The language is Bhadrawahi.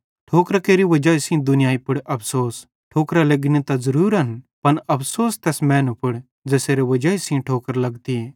ठोकरां केरि वजाई सेइं दुनियाई पुड़ अफ़सोस ठोकरां लेग्गनी त ज़रुरन पन अफ़सोस तैस मैनू पुड़ ज़ेसेरी वजाई सेइं ठोकर लग्गतीए